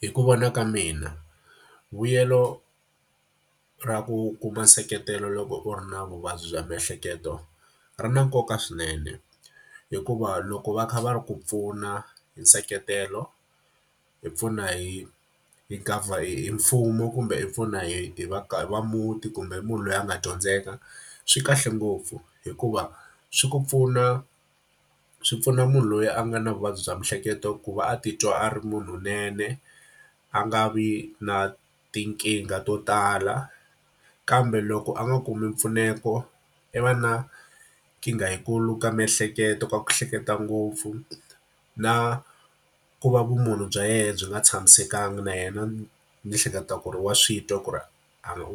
Hi ku vona ka mina vuyelo ra ku kuma nseketelo loko u ri na vuvabyi bya miehleketo, ri na nkoka swinene. Hikuva loko va kha va ku pfuna hi nseketelo, hi pfuna hi hi hi hi mfumo kumbe i pfuna hi hi va va muti, kumbe hi munhu loyi a nga dyondzeka, swi kahle ngopfu. Hikuva swi ku pfuna, swi pfuna munhu loyi a nga na vuvabyi bya miehleketo ku va a titwa a ri munhu lowunene, a nga vi na tinkingha to tala. Kambe loko a nga kumi mpfuneto, i va na nkingha yi kulu ka miehleketo ka ku ehleketa ngopfu. Na ku va vumunhu bya yena byi nga tshamisekanga na yena ni hleketa ku ri wa swi twa ku ri